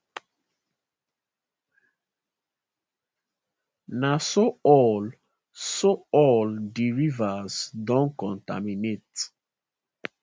na so all so all di rivers don contaminate